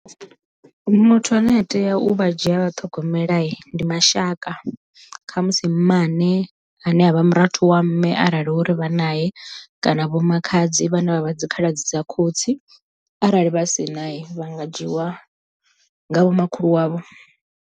Muthu ane a tea u vha dzhia a vha ṱhogomela ndi mashaka, khamusi mmane ane avha murathu wa mme arali hu uri vha nae kana vho makhadzi vhane vha vha dzikhaladzi dza khotsi arali vha si nae vha nga dzhiwa nga vho makhulu wavho.